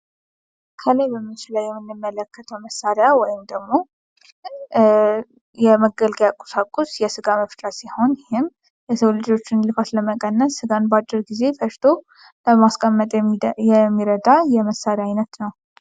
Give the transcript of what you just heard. ከላይ በምስሉ ላይ የምንመለከተው መሳርያ ወይም ደሞ የመገልገያ ቁሳቁስ የስጋ መፍጫ ሲሆን ይህም የሰው ልጆችን ልፋት ለመቀነስ ስጋን በአጭር ጊዜ ፈጭቶ ለማስቀመጥ የሚረዳ የመሳርያ አይነት ነው።